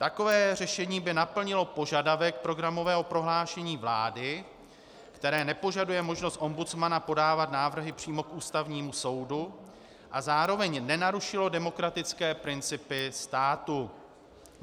Takové řešení by naplnilo požadavek programového prohlášení vlády, které nepožaduje možnost ombudsmana podávat návrhy přímo k Ústavnímu soudu, a zároveň nenarušilo demokratické principy státu.